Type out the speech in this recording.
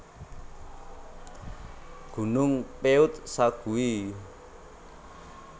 Gunung Peuet Sague